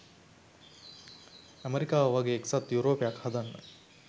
ඇමෙරිකාව වගේ එක්සත් යුරෝපයක් හදන්න.